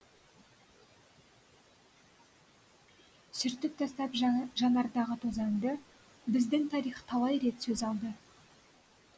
сүртіп тастап жанардағы тозаңды біздің тарих талай рет сөз алды